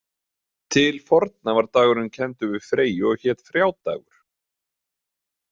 Til forna var dagurinn kenndur við Freyju og hét Frjádagur.